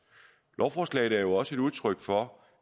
lovforslaget er jo også et udtryk for